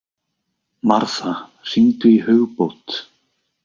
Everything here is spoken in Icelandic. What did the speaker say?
Martha, hringdu í Hugbót.